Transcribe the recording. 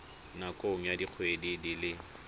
nakong ya dikgwedi di le